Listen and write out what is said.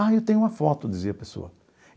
Ah, eu tenho uma foto, dizia a pessoa.